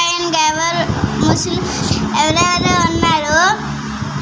ఇంకెవరు ముస్లిమ్స్ ఎవరెవరో ఉన్నారు.